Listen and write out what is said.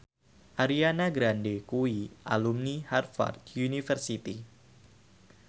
Ariana Grande kuwi alumni Harvard university